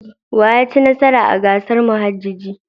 Wa ya ci nasara a gasar muhajjaji?